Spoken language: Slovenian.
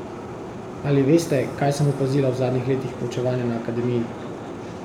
Ali veste, kaj sem opazila v zadnjih letih poučevanja na akademiji?